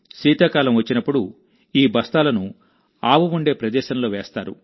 శీతాకాలం వచ్చినప్పుడుఈ బస్తాలను ఆవు ఉండే ప్రదేశంలో వేస్తారు